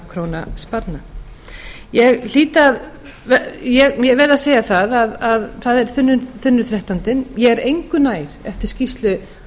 sér um þrettán hundruð milljóna króna sparnað ég verð að segja það að það er þunnur þrettándi ég er engu nær eftir skýrslu